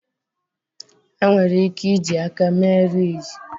Enwere ike iji aka mee ridges